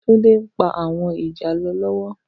Tunde n pá áwòn ijálò lòwò